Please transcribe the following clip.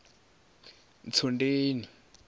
ntsundeni